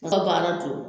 Ne ka baara do